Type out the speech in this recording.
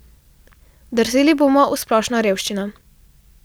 Drseli bomo v splošno revščino.